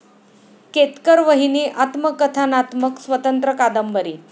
केतकरवहिनी आत्मकथनात्मक स्वतंत्र कादंबरी